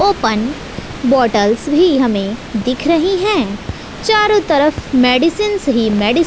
open bottles भी हमें दिख रही हैं चारों तरफ़ मेडिसिंस ही मेडी--